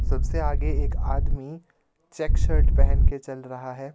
सबसे आगे एक आदमी चेक शर्ट पहन के चल रहा है.